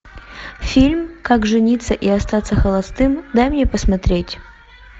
фильм как жениться и остаться холостым дай мне посмотреть